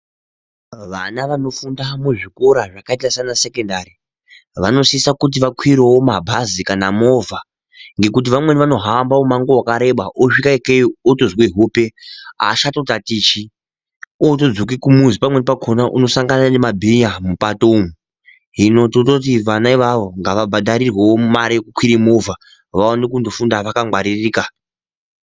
Vana vanofunda muzvikora zvakaita saana sekendari vanosisa kuti vakwirewo mabhazi kana movha, ngekuti vamweni vanohamba mumango wakareba osvika ikeyo otozwa hope aachato tatichi ootodzoke kumuzi pamweni pakhona unosongana nemabhinya mupato umu, hino tototu vana ivavo ngava bhadharirwe wo mare yekukwire movha vaone kundofunda vakangwaririka.